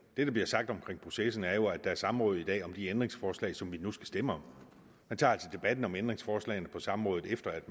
det der bliver sagt om processen er jo at der er samråd i dag om de ændringsforslag som vi nu skal stemme om man tager altså debatten om ændringsforslagene på samrådet efter at